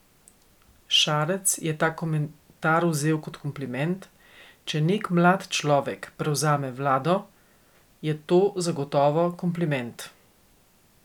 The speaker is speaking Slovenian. Šarec je ta komentar vzel kot kompliment: "Če nek mlad človek prevzame vlado, je to zagotovo kompliment.